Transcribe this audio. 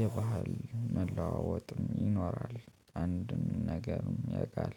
የባህል መለዋወጥም ይኖራል። አንድም ነገርም ያቃል